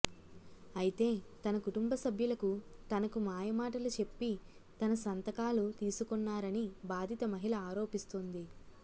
అయితే తన కుటుంబసభ్యులకు తనకు మాయమాటలు చెప్పి తన సంతకాలు తీసుకొన్నారని బాధిత మహిళ ఆరోపిస్తోంది